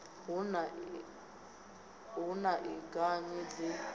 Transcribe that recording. hu na i anganyi ḓi